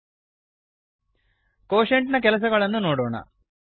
quotient ನ ಕೆಲಸಗಳನ್ನು ನೋಡೋಣ